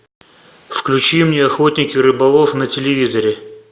включи мне охотник и рыболов на телевизоре